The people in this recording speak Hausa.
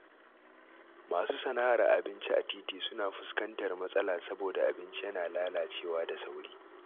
Masu sana’ar abinci a titi suna fuskantar matsala saboda abinci yana lalacewa da sauri.